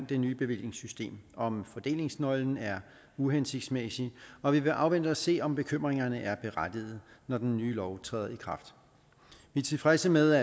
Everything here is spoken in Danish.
det nye bevillingssystem om fordelingsnøglen er uhensigtsmæssig og vi vil afvente og se om bekymringerne er berettigede når den nye lov træder i kraft vi er tilfredse med